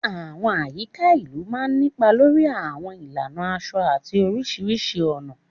Àwọn àyíká ìlú máa ń nípa lórí àwọn ìlànà aṣọ àti oríṣiríṣi ọ̀nà.